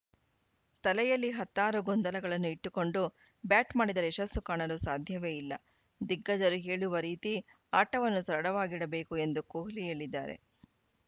ತಲೆಯಲ್ಲಿ ಹತ್ತಾರು ಗೊಂದಲಗಳನ್ನು ಇಟ್ಟುಕೊಂಡು ಬ್ಯಾಟ್‌ ಮಾಡಿದರೆ ಯಶಸ್ಸು ಕಾಣಲು ಸಾಧ್ಯವೇ ಇಲ್ಲ ದಿಗ್ಗಜರು ಹೇಳುವ ರೀತಿ ಆಟವನ್ನು ಸರಳವಾಗಿಡಬೇಕು ಎಂದು ಕೊಹ್ಲಿ ಹೇಳಿದ್ದಾರೆ